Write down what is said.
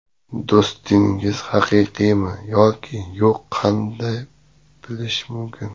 Do‘stingiz haqiqiymi yoki yo‘q qanday bilish mumkin?